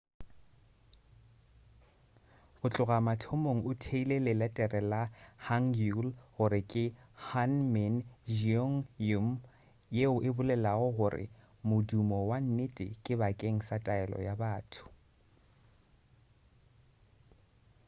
go tloga mathomong o theile leletere la hangeul gore ke hunmin jeongeum yeo e bolelago gore modumo wa nnete bakeng sa taelo ya batho